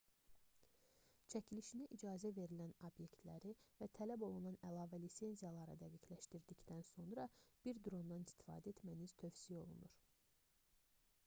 çəkilişinə icazə verilən obyektləri və tələb olunan əlavə lisenziyaları dəqiqləşdirdikdən sonra bir drondan istifadə etməniz tövsiyə olunur